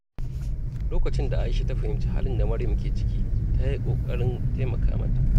Lokacin da Aisha ta fahimci halin da Maryam ke ciki, ta yi ƙoƙarin taimaka mata.